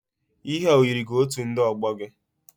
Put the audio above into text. Ihe a o yiri gi otu ndị ọgbọ gị?